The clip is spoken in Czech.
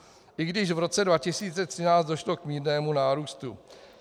I když v roce 2013 došlo k mírnému nárůstu.